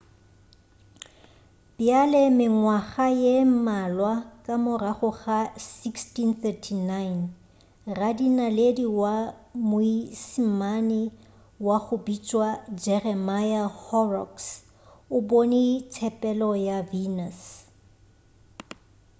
bjale mengwaga ye mmalwa ka morago ka 1639 radinaledi wa moismane wa go bitšwa jeremiah horrocks o bone tshepelo ya venus